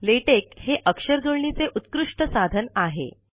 LaTeX हे अक्षरजुळणीचे उत्कृष्ट साधन आहे